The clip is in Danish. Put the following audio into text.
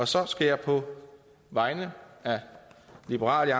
så skal jeg på vegne af liberal